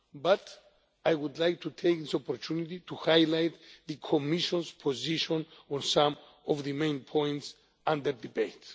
But I would like to take this opportunity to highlight the Commission's position on some of the main points under debate.